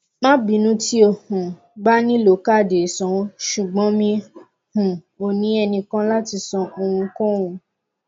má bínú tí o um bá nílò káàdì ìsanwó ṣùgbọn mi um ò ní ẹnìkan láti san ohunkóhun